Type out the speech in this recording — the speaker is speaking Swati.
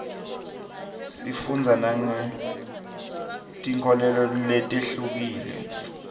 sifundza nangetinkholelo letihlukile